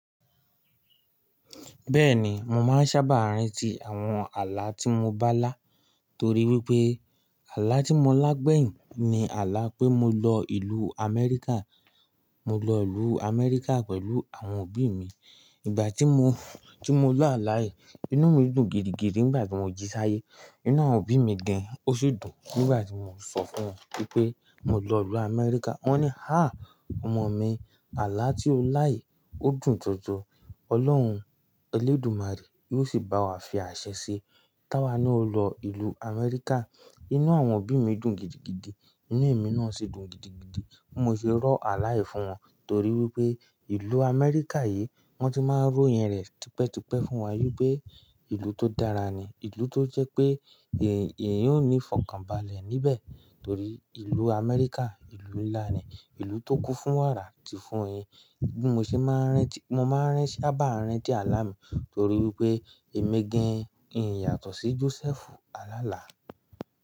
Bẹ́ẹ̀ni, mo máa ń sábà rántí àwọn ààlà tí mo bá lá, torí wípé ààlà tí mo lá gbẹ̀yìn ni ààlà pé mo lọ ìlú Amẹ́ríkà. Mo lọ ìlú Amẹ́ríkà pẹ̀lú àwọn òbí mi. Ìgbà tí mo, tí mo lá ààlà yìí, inú mi dùn gidigidi nígbà tí mo jí sáyé. Inú àwọn òbí mi gẹ́n, ó sì dùn nígbà tí mo sọ fún wọn wípé mo lọ ìlú Amẹ́ríkà. Wọ́n ní, "Há! Ọmọ mi, ààlà tí o lá yìí ó dùn jọjọ. Ọlọ́run Elédùmarè yóò sì bá wa fi àṣẹ ṣe. Táwà ni o lọ ìlú Amẹ́ríkà." Inú àwọn òbí mi dùn gidigidi, inú èmi náà sì dùn gidigidi. Mo sì rọ ààlà yìí fún wọn, torí wípé ìlú Amẹ́ríkà yìí wón ti máa ń ró ìyẹn rẹ̀ tipẹ́ tipẹ́ fún wa, wípé ìlú tó dára ni, ìlú tó jẹ́ pé èèyàn ó ní ìfọ̀kànbalẹ̀ níbẹ̀, torí ìlú Amẹ́ríkà ìlú ńlá ni, ìlú tó kún fún wàrà àti fún ẹyin. Bí mo ṣe máa ń rántí, mo máa ń sábà rántí ààlà mi torí wípé èmi gẹ́n, ìyàtọ̀ sí Jósẹ́fù Alálà.